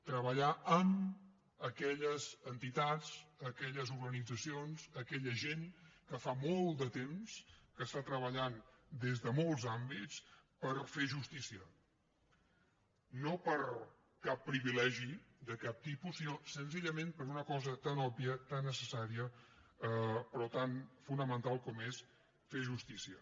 treballar amb aquelles entitats aquelles organitzacions aquella gent que fa molt de temps que està treballant des de molts àmbits per fer justícia no per cap privilegi de cap tipus sinó senzillament per una cosa tan òbvia tan necessària però tan fonamental com és fer justícia